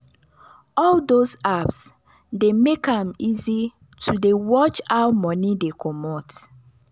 all those apps dey make am easy to dey watch how money dey comot